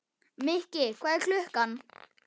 Mikki, hvað er klukkan?